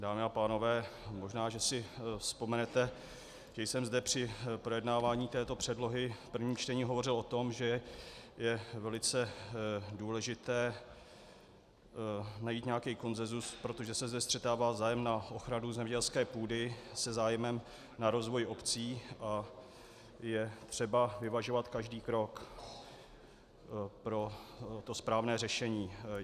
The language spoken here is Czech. Dámy a pánové, možná že si vzpomenete, že jsem zde při projednávání této předlohy v prvním čtení hovořil o tom, že je velice důležité najít nějaký konsenzus, protože se zde střetává zájem na ochranu zemědělské půdy se zájmem na rozvoj obcí, je třeba vyvažovat každý krok pro to správné řešení.